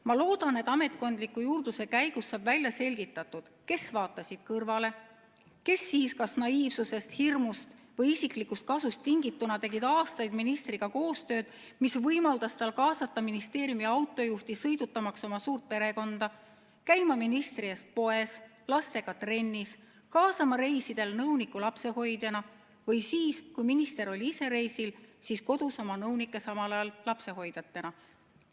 Ma loodan, et ametkondliku juurdluse käigus saab välja selgitatud, kes vaatasid kõrvale ning kes tegid – kas naiivsusest, hirmust või isiklikust kasust tingituna – aastaid ministriga koostööd, mis võimaldas tal kaasata ministeeriumi autojuhti, sõidutamaks oma suurt perekonda, käima ministri eest poes ja lastega trennis, kaasama reisidele nõunikku lapsehoidjana või siis, kui minister oli ise reisil, kasutama kodus oma nõunikke samal ajal lapsehoidjatena.